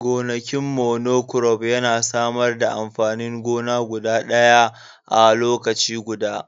gonakin monocrop yana samar da amfanin gona guda ɗaya a lokaci guda